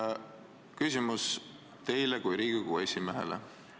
Mul on küsimus teile kui Riigikogu esimehele.